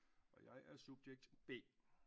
Og jeg er subjekt B